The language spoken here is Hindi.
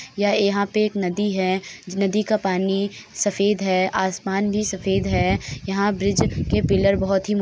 यहाँ पर एक नदी है। नदी का पानी सफेद है। आसमान भी सफेद है। यहाँ ब्रिज के पीलर बहोत ही म --